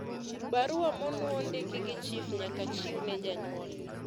barua monuo ndiki gi chif nyaka chiwne janyuol